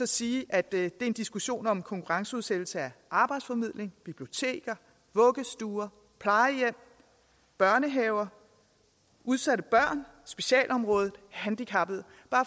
sige at det er en diskussion om konkurrenceudsættelse af arbejdsformidling biblioteker vuggestuer plejehjem børnehaver udsatte børn specialområdet